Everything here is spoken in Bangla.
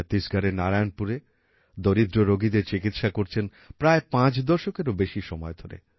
ছত্তিশগড়ের নারায়ণপুরে দরিদ্র রোগীদের চিকিৎসা করছেন প্রায় ৫ দশকেরও বেশি সময় ধরে